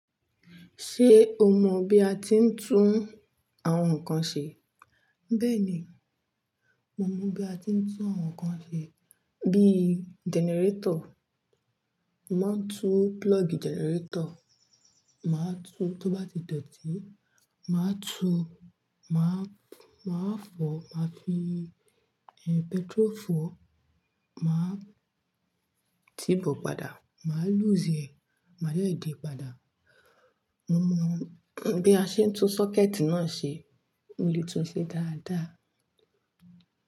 Ṣé o mọ bí a ti ń tún àwọn nǹkan ṣe? Bẹ́ẹ̀ni, mo mọ bí a ti ń tún àwọn nǹkan ṣe bíi gẹnẹrétọ̀. Máa tú púlọ́ọ̀gì gẹnẹrétọ̀, máa tú tó bá ti dọ̀tí, máa tú, máa, máa fọ, màá fi, ẹ, pẹtrofolu máa tìí bọ̀ padà, màá lúùsì ẹ̀, màá de padà. Mo mọ bí a ṣe ń tún sọ́kẹ́ẹ̀tì náà ṣe, mo lè tún ṣe dáadáa.